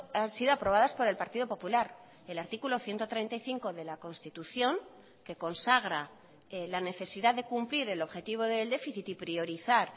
han sido aprobadas por el partido popular el artículo ciento treinta y cinco de la constitución que consagra la necesidad de cumplir el objetivo del déficit y priorizar